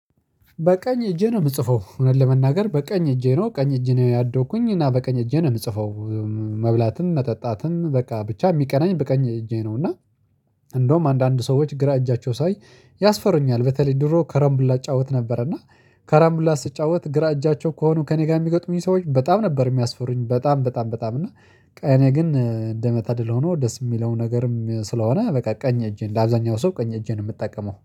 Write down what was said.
በቀኝ እጄ ነው የምጽፈው እውነት ለመናገር በቀኝ እጄ ነው ቀኝ እጄ ነው ያደኩኝ እና በቀኝ እጄ ነው የምጽፈው። መብላትም መጠጣትም በቀ ብቻ የሚቀኛኝ በቀኝ እጄ ነው። እና እንደውም አንዳንድ ሰዎች ግራ እጃቸው ሳይ ያስፈሩኛል በተለይ ድሮ ከረምቡላ እጫወት ነበር። እና ከረምቡላ ስጫወት ግራ እጃቸው ከሆኑ ከእኔ ጋር የሚገትሙኝ ሰዎች በጣም ነበር የሚያስፈርኝ በጣም በጣም በጣም እና። እኔ ግን እንደመታደል ሆኖ ደስ የሚለው ነገርም ስለሆነ በቃ ቀኝ እጄን እንደአብዛኛው ሰው ቀኝ እጄን የምተቀምው